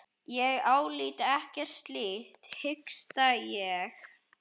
Ég álít ekkert slíkt, hiksta ég.